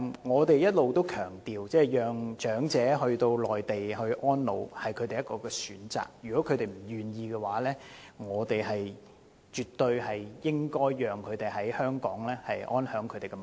我們一直也強調，讓長者返回內地安老是其中一種選擇，如果他們不願意，我們絕對應該讓他們在港安享晚年。